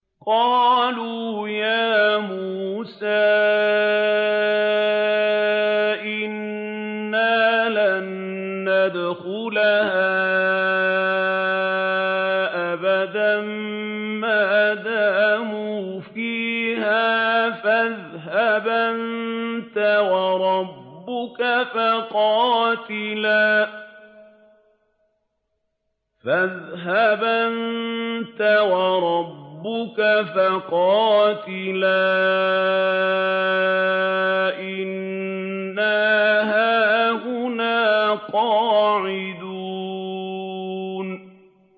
قَالُوا يَا مُوسَىٰ إِنَّا لَن نَّدْخُلَهَا أَبَدًا مَّا دَامُوا فِيهَا ۖ فَاذْهَبْ أَنتَ وَرَبُّكَ فَقَاتِلَا إِنَّا هَاهُنَا قَاعِدُونَ